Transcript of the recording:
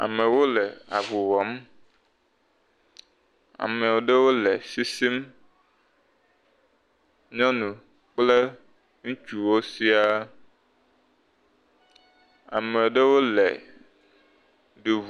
Amewo le avu wɔm. Ame ɖewo le sisim. Nyɔnu kple ŋutsuwo siaa. Ame ɖewo le du ŋu.